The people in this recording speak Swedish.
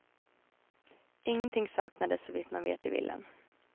Ingenting saknades så vitt man vet i villan.